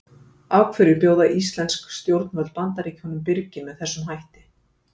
Og af hverju bjóða íslensk stjórnvöld Bandaríkjunum birginn með þessum hætti?